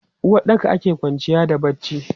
A uwaɗɗaka ake kwanciya da barci.